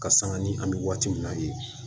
Ka sanga ni an mi waati min na ye